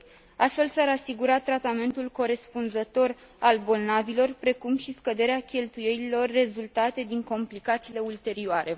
2. Astfel, s ar asigura tratamentul corespunzător al bolnavilor, precum și scăderea cheltuielilor rezultate din complicațiile ulterioare.